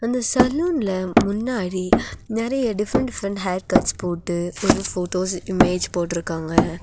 இந்த சலூன்ல முன்னாடி நெறைய டிஃபரென்ட் டிஃபரென்ட் ஹேர்கட்ஸ் போட்டு ஒரு ஃபோட்டோஸ் இமேஜ் போட்டுருக்காங்க.